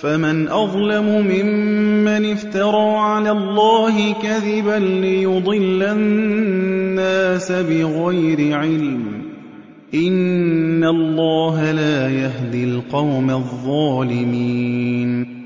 فَمَنْ أَظْلَمُ مِمَّنِ افْتَرَىٰ عَلَى اللَّهِ كَذِبًا لِّيُضِلَّ النَّاسَ بِغَيْرِ عِلْمٍ ۗ إِنَّ اللَّهَ لَا يَهْدِي الْقَوْمَ الظَّالِمِينَ